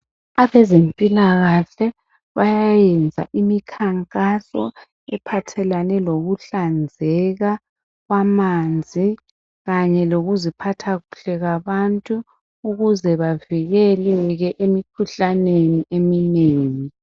Abezempilakahle bayayenza imikhankaso ephathelene lokuhlanzeka kwamanzi kanye lokuziphatha kuhle kwabantu ukuze bavikeleke emikhuhlaneni eminengi